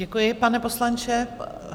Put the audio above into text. Děkuji, pane poslanče.